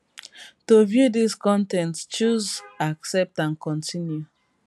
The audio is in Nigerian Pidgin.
to view dis con ten t choose accept and continue